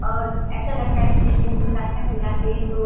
लगता ऐसा लगता है जैसे हम लोग सत्संग में जाते है तो--